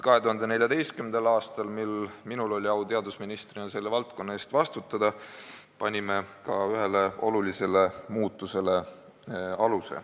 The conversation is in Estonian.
2014. aastal, mil minul oli au teadusministrina selle valdkonna eest vastutada, panime aluse ühele olulisele muutusele.